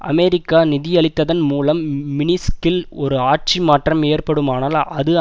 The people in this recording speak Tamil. அமெரிக்கா நிதியளித்ததன் மூலம் மின்ஸ்கில் ஒரு ஆட்சி மாற்றம் ஏற்படுமானால் அது